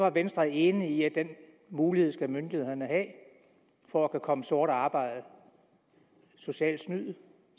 at venstre er enig i at den mulighed skal myndighederne have for at kunne komme sort arbejde og socialt snyderi